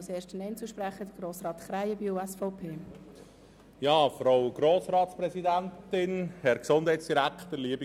Als erster Einzelsprecher hat Grossrat Krähenbühl das Wort.